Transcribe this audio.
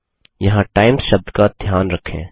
यहाँ टाइम्स शब्द का ध्यान रखें